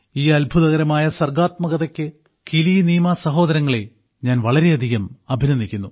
ഈ അത്ഭുതകരമായ സർക്ഷാത്മകതയ്ക്ക് കിലിനീമ സഹോദരങ്ങളെ ഞാൻ വളരെയധികം അഭിനന്ദിക്കുന്നു